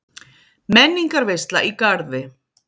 Menningarveisla í Garði